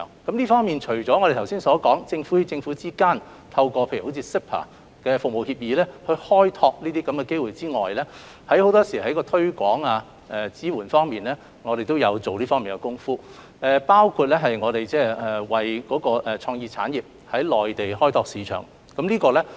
就這方面，除了我剛才所說，政府與政府之間透過如 CEPA《服務貿易協議》開拓機會外，我們在推廣及支援方面也下了不少工夫，包括為創意產業在內地開拓市場。